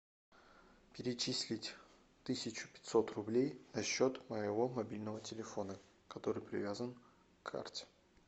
перечислить тысячу пятьсот рублей на счет моего мобильного телефона который привязан к карте